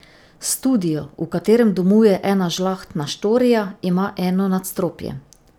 Studio, v katerem domuje Ena žlahtna štorija, ima eno nadstropje.